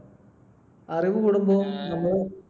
അറിവ് കൂടുമ്പോൾ നമ്മള്